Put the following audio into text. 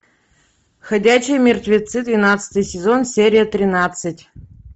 ходячие мертвецы двенадцатый сезон серия тринадцать